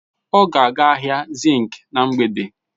Ọ ga-aga ahịa zinc na mgbede.